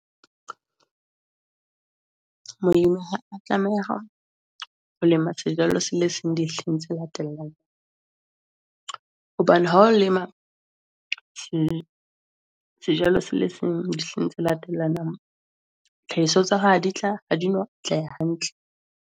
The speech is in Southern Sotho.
Modimo a tlameha ho lema sejalo sele seng di latelang hobane ha o lema jwalo sele seng di tse latellanang, tlhahiso tsa di tla atleha hantle .